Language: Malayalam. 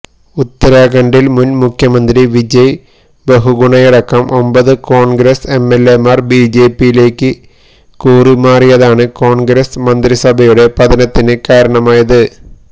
ഉത്തരാഖണ്ഡില് മുന് മുഖ്യമന്ത്രി വിജയ് ബഹുഗുണയടക്കം ഒമ്പത് കോണ്ഗ്രസ് എംഎല്എമാര് ബിജെപിയിലേക്ക് കൂറുമാറിയതാണ് കോണ്ഗ്രസ് മന്ത്രിസഭയുടെ പതനത്തിന് കാരണമായത്